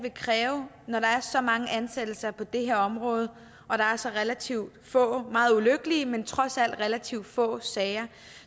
vil kræve når der er så mange ansættelser på det her område og der er så relativt få meget ulykkelige men trods alt relativt få sager